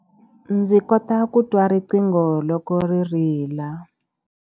Ndzi kota ku twa riqingho loko ri rila.